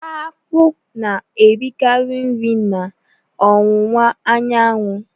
Akpụ na-erikarị nri n'ọwụwa anyanwụ